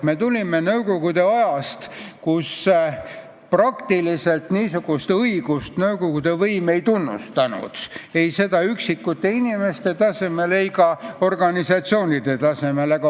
Me oleme tulnud nõukogude ajast, kui nõukogude võim niisugust õigust tegelikult ei tunnustanud ei üksikute inimeste tasemel ega ka organisatsioonide tasemel.